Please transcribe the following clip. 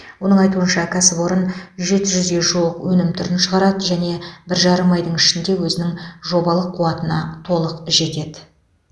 оның айтуынша кәсіпорын жеті жүзге жуық өнім түрін шығарады және бір жарым айдың ішінде өзінің жобалық қуатына толық жетеді